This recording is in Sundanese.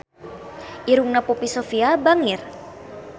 Irungna Poppy Sovia bangir